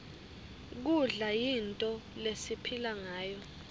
kudla yinto lesiphilangayo